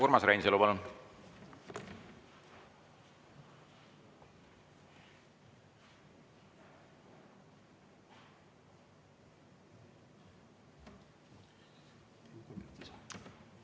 Urmas Reinsalu, palun!